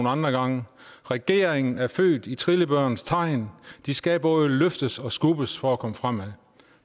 andre gange regeringen er født i trillebørens tegn de skal både løftes og skubbes for at komme fremad